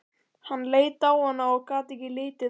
Hann leit á hana og gat ekki litið af henni.